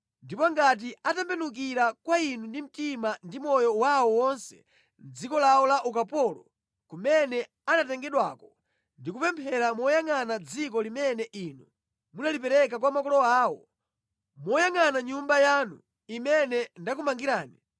Ndipo ngati atembenukira kwa inu ndi mtima ndi moyo wawo wonse mʼdziko lawo la ukapolo kumene anatengedwako ndi kupemphera moyangʼana dziko limene inu munalipereka kwa makolo awo, moyangʼana Nyumba yanu imene ndakumangirani;